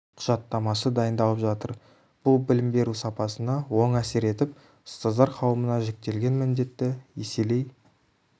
құжаттамасы дайындалып жатыр бұл білім беру сапасына оң әсер етіп ұстаздар қауымына жүктелген міндетті еселей